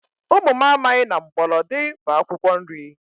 Ụmụ m amaghị na mgbọlọdị bụ akwụkwọ nri